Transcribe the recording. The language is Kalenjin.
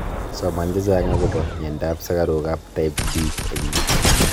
soman chechang agoba myanta ab sukaruk ab type 2 eng yuu